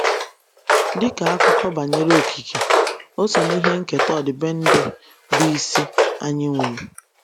“ Dị ka akụkọ banyere okike, o so n’ihe nketa ọdịbendị bụ́ isi anyị nwere.